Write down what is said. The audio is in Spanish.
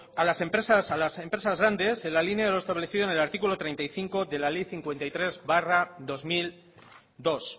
a las empresas grandes en la línea de lo establecido en el artículo treinta y cinco de la ley cincuenta y tres barra dos mil dos